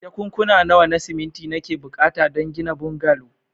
Jakunkuna nawa na siminti nake buƙata don gina bungalow.